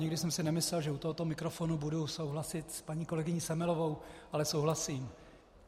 Nikdy jsem si nemyslel, že u tohoto mikrofonu budu souhlasit s paní kolegyní Semelovou, ale souhlasím.